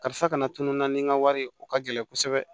Karisa kana tunun na ni n ka wari ye o ka gɛlɛn kosɛbɛ